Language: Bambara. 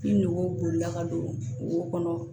Bin nɔgɔ bolila ka don wo kɔnɔ